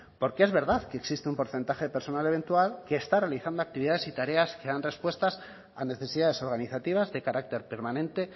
porque es verdad que existe un porcentaje de personal eventual que está realizando actividades y tareas que dan respuestas a necesidades organizativas de carácter permanente